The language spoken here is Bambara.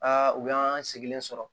u y'an sigilen sɔrɔ